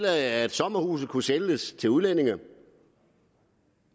at sommerhuse kunne sælges til udlændinge